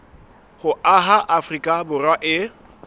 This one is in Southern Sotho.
ho aha afrika borwa e